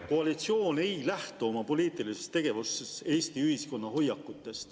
… et koalitsioon ei lähtu oma poliitilises tegevuses Eesti ühiskonna hoiakutest?